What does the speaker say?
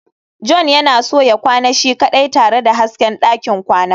john yana son ya kwana shi kaɗai tare da hasken ɗakin kwana